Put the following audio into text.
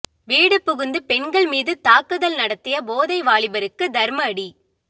வீடு புகுந்து பெண்கள் மீது தாக்குதல் நடத்திய போதை வாலிபருக்கு தர்மஅடி